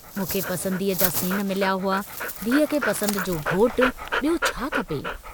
मूंखे पसंदीअ जा सेण मिलिया हुआ, धीउ खे पसंद जो घोटु, ॿियो छा खपे।